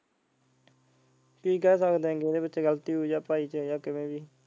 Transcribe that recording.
ਕੀ ਕਹਿ ਸਕਦੇ ਆ ਗਲਤੀ ਹੋਈ ਆ .